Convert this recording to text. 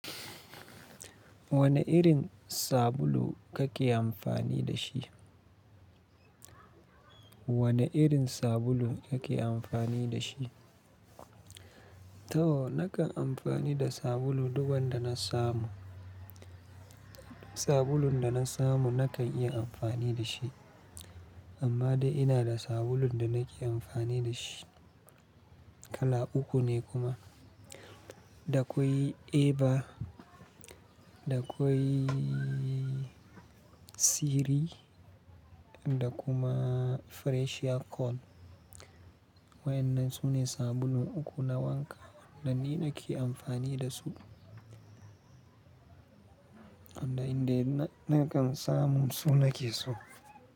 Wane irin sabulu kake amfani da shi? Wane irin sabulu kake amfani da shi? To nakan amfani da sabulu duk wanda na samu. Sabulun da na samu nakan iya amfani da shi, amma dai ina da sabulun da nake amfani da shi. Kala uku ne kuma. Da akwai Eva, da akwai Siri da kuma Fresher Call. Wa'ennan su ne sabulun uku na wanka da ni nake amfani da su. Inda indai yununa nakan samu su nake so.